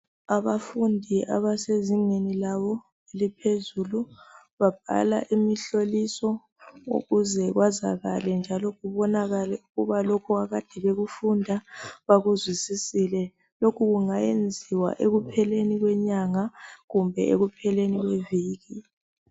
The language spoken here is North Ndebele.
Abafundi abasezingeni labo eliphezulu babhala imihloliso njalo ukuze kwazakale njalo kubonakale lokhu ekade bekufunda bakuzwisisile lokhu kungenziwa ekupheleni kwenyanga kumbe ekupheleni kweviki